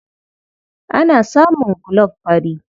Ana samun gulob fari.